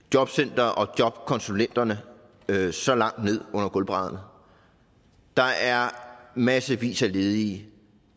jobcentrene og jobkonsulenterne så langt ned under gulvbrædderne der er massevis af ledige